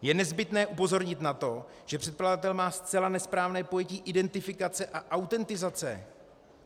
Je nezbytné upozornit na to, že předkladatel má zcela nesprávné pojetí identifikace a autentizace.